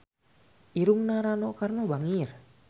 Irungna Rano Karno bangir